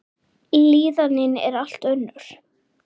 Líðanin er allt önnur.